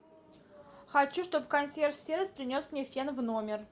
хочу чтобы консьерж сервис принес мне фен в номер